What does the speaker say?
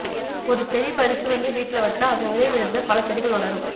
ஒரு செடி பறிச்சு வந்து வீட்ல வச்சா அதன் விதை விழுந்து பல செடிகள் வளரும்